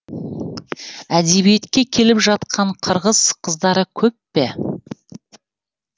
әдебиетке келіп жатқан қырғыз қыздары көп пе